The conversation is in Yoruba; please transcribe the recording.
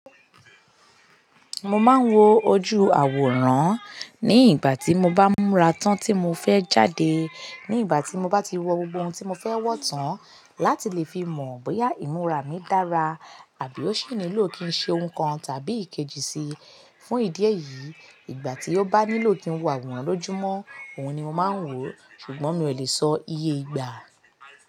Mo máa ń wo ojú àwòrán ní ìgbà tí mo bá múra tán tí mo fẹ́ jáde. Ní ìgbà tí mo bá ti wo gbogbo ohun tí mo fẹ́ wọ tán láti lè fi mọ̀ bóyá ìmúra mi dára àbí ó sì nílò kí ń ṣe ohun kan tàbí ìkejì si. Fún ìdí èyí, ìgbà tí ó bá nílò kí ń wo àwòrán lójúmọ́, òun ni mo máa ń wò, ṣùgbọ́n mi ò lè sọ iye ìgbà.